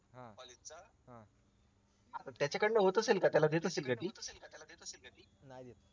त्याच्याकडून होत असेल का त्याला देत असेल का ती